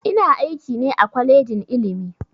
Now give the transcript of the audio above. Ina aiki ne a kwalejin ilimi